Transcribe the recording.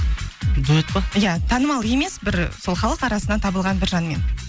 дуэт па иә танымал емес бір сол халық арасынан табылған бір жанмен